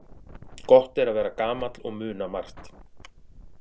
Gott er að vera gamall og muna margt.